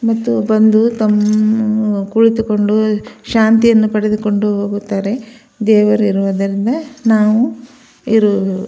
ಮತ್ತು ಬಂದು ತಮ್ಮ ಕುಳಿತುಕೊಂಡು ಶಾಂತಿಯನ್ನು ಪಡೆದುಕೊಂಡು ಹೋಗುತ್ತಾರೆ ದೇವರು ಇರುವುದರಿಂದ ನಾವು ಇರುವುದು.